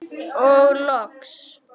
Og loks.